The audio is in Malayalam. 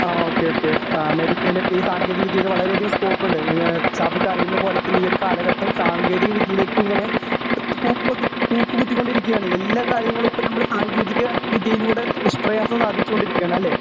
ആ ഓകെ ഓകെ അമേരിക്കയിലൊക്കെ ഈ സാങ്കേതിക വിദ്യയില് വളരെ അധികം സകോപ്പുണ്ട് നിങ്ങ ഷാഫിക്ക് അറിയുന്നത് പോലെ തന്നെ ഈ ഒരു കാലഘട്ടം സാങ്കേതിക വിദ്യയിലേക്ക് ഇങ്ങനെ കൂപ്പു കൂപ്പുകുത്തികൊണ്ടിരിക്കുകയാണ് എല്ലാ കാര്യങ്ങളും ഇപ്പോ നമ്മള് സാങ്കേതിക വിദ്യയിലൂടെ നിഷ്പ്രയാസം സാധിച്ചു കൊണ്ടിരിക്കുകയാണ് അല്ലേ